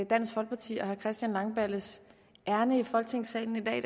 dansk folkeparti og herre christian langballes ærinde i folketingssalen i